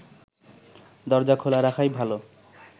দরজা খোলা রাখাই ভালো